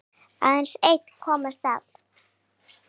Aðeins einn komst af.